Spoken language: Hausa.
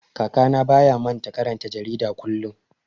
Kakana baya manta karanta jarida kullum.